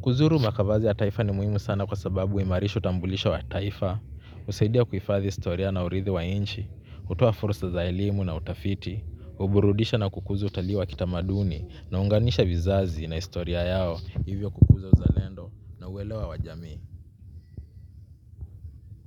Kuzuru makavazi ya taifa ni muhimu sana kwa sababu huimarishi utambulisho wa taifa. Husaidia kuhifadhi historia na urithi wa nchi, hutoa fursa za elimu na utafiti, huburudisha na kukuza utalii wa kitamaduni, na huunganisha vizazi na historia yao. Hivyo kukuza uzalendo na uelewa wa jamii.